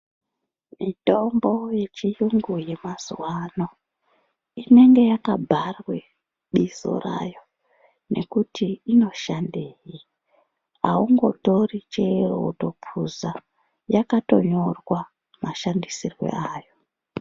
Mitombo ye chiyungu ye mazuva ano inenge yaka bharwe bizo rayo nekuti ino shandei aungo tori chero woto puza yakato nyorwa ma shandisirwo ayo.